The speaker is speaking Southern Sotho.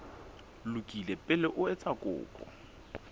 lokile pele o etsa kopo